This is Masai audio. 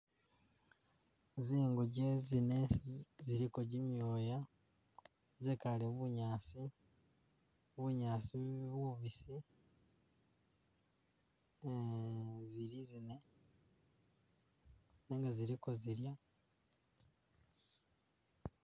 Zinguje zinne ziliko jimyoya zekale mubunyasi bunyaasi bubisi ee zili zinne nenga ziliko zilya